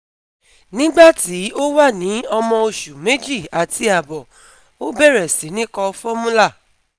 Nígbà tí ó wà ní ọmọ oṣù méjì àti àbọ̀ Ó bẹ̀rẹ̀ sí ní kọ formula